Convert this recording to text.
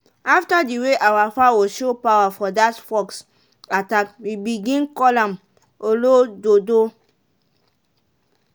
after the way our fowl show power for that fox attack we begin call am "olododo".